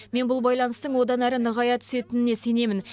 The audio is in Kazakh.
мен бұл байланыстың одан әрі нығая түсетініне сенемін